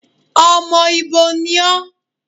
Ọmọ ibo ni ọ́?